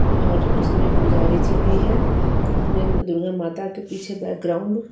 और उसमे पुजारी जी भी है इसमें दुल्हन माता के पीछे बेकग्राउंड में --